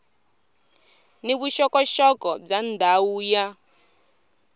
ni vuxokoxoko bya ndhawu ya